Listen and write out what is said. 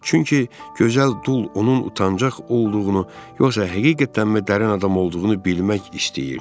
Çünki gözəl dul onun utancaq olduğunu yoxsa həqiqətənmi dərin adam olduğunu bilmək istəyirdi.